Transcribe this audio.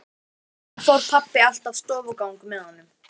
Einnig fór pabbi alltaf stofugang með honum.